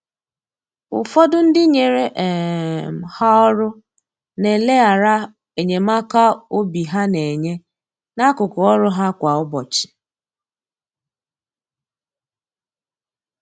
Ụfọdụ ndị nyere um ha ọrụ na eleghara enyemaka obi ha na-enye, n’akụkụ ọrụ ha kwa ụbọchị.